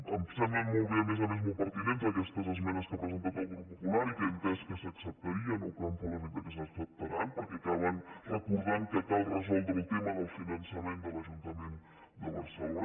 em semblen molt bé a més a més molt pertinents aquestes esmenes que ha presentat el grup popular i que he entès que s’acceptarien o que em fa l’efecte que s’acceptaran perquè acaben recordant que cal resoldre el tema del finançament de l’ajuntament de barcelona